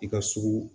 I ka sugu